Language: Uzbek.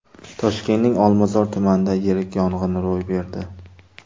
Toshkentning Olmazor tumanida yirik yong‘in ro‘y berdi.